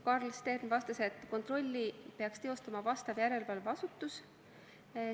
Karl Stern vastas, et kontrolli peaks teostama vastav järelevalveasutus.